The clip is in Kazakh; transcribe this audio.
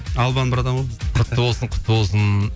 албан братан ғой құтты болсын құтты болсын